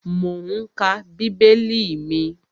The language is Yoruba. Mò ún ka bíbélì mi